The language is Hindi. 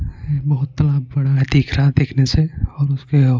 बहुत तालाब बड़ा है दिख रहा देखने से और उसके .